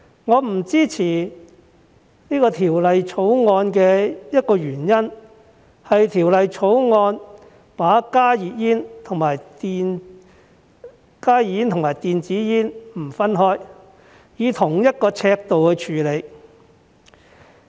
我不支持《條例草案》的一個原因，是《條例草案》沒有把加熱煙與電子煙分開，而是以同一尺度處理。